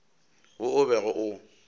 wo o bego o o